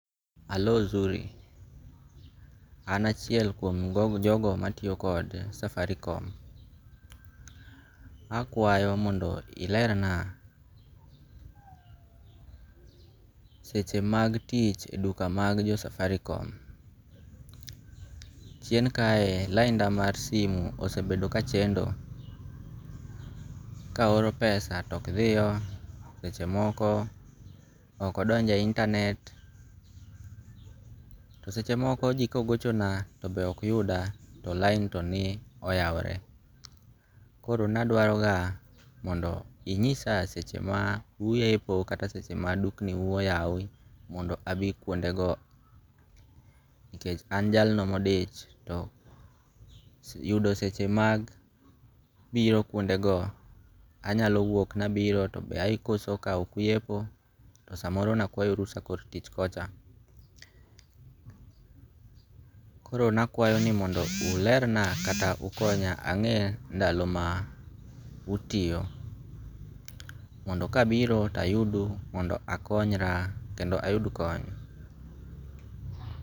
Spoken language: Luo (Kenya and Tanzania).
Hallo Zuri, an achiel kuom jogo matiyo kod Safaricom, akwayo mondo ilerna seche mag tich e duka mag jo Safaricom, chien kae lainda na mar simi osebedo ka chendo ka ohoro pesa to ok thiyo, sechemoko okodonje e internet, to sechemoko ji ka gochona to be okyuda to line to ni oyawore, koro nadwarogo mondo inyisa seche ma uyepo kata seche ma dukni u oyawi mondo abi kuondego, nikech an jalno modich to yudo seche mag biro kuondego anyalo wuok nabiro to be ayudo ka ok uyepo samoro ne akwayo rusa e kor tich kocha, koro nakwayo ni mondo ulerna kata ukonya ange' ndalo ma utiyo, mondo kabiro tayudu mondo akonyra kendo ayud kony.